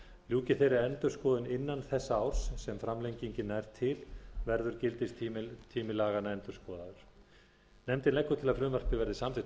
ljúki þeirri endurskoðun innan þessa árs sem framlengingin nær til verður gildistími laganna endurskoðaður nefndin leggur til að frumvarpið verði samþykkt